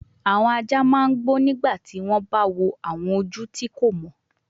Awọn aja ma n gbo nigba ti wọn ba wo awọn oju ti ko mọ